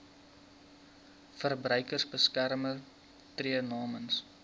verbruikersbeskermer tree namens